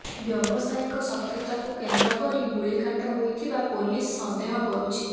ବ୍ୟବସାୟିକ ଶତ୍ରୁତାକୁ କେନ୍ଦ୍ର କରି ଗୁଳିକାଣ୍ଡ ହୋଇଥିବା ପୋଲିସ ସନ୍ଦେହ କରୁଛି